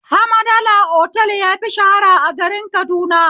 Hamadala otal yafi shahara a garin Kaduna